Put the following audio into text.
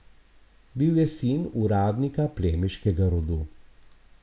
Bil je sin uradnika plemiškega rodu.